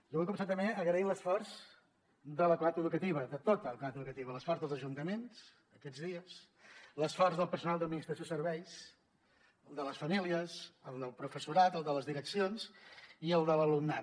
jo vull començar també agraint l’esforç de la comunitat educativa de tota la comunitat educativa l’esforç dels ajuntaments aquests dies l’esforç del personal d’administració i serveis el de les famílies el del professorat el de les direccions i el de l’alumnat